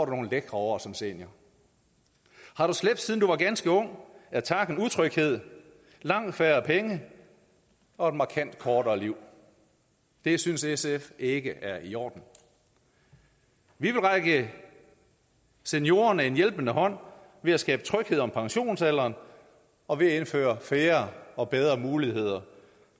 nogle lækre år som senior har du slæbt siden du var ganske ung er takken utryghed langt færre penge og et markant kortere liv det synes sf ikke er i orden vi vil række seniorerne en hjælpende hånd ved at skabe tryghed om pensionsalderen og ved at indføre færre og bedre muligheder